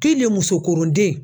musokɔrɔden